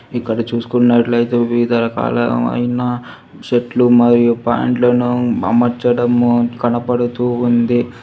ఇక్కడ చూసుకున్నట్లయితే వివిధ రకాలైన షర్ట్లు మరియు పాంట్లను అమర్చడము కనపడుతూ ఉంది.